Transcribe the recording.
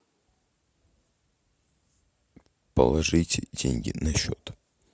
положить деньги на счет